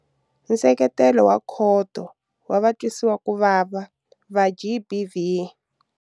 Nseketelo wa khoto wa vatwisiwakuvava va GBV.